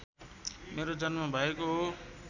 मेरो जन्म भएको हो